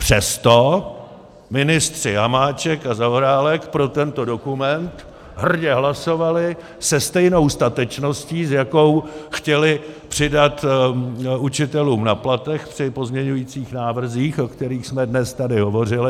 Přesto ministři Hamáček a Zaorálek pro tento dokument hrdě hlasovali se stejnou statečností, s jakou chtěli přidat učitelům na platech při pozměňovacích návrzích, o kterých jsme dnes tady hovořili.